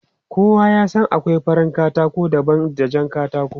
Kowa ya san akwai farin katako daban da jan katako.